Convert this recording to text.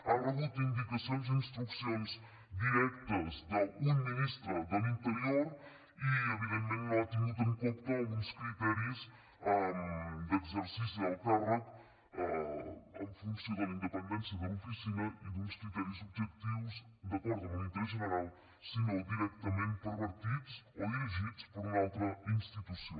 ha rebut indicacions i instruccions directes d’un ministre de l’interior i evidentment no ha tingut en compte uns criteris d’exercici del càrrec en funció de la independència de l’oficina i d’uns criteris objectius d’acord amb un interès general sinó directament pervertits o dirigits per una altra institució